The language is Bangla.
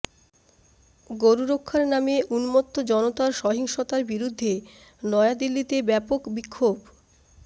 গরু রক্ষার নামে উন্মত্ত জনতার সহিংসতার বিরুদ্ধে নয়াদিল্লিতে ব্যাপক বিক্ষোভ